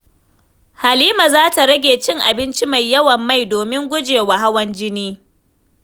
Halima za ta rage cin abinci mai yawan mai domin guje wa hawan jini.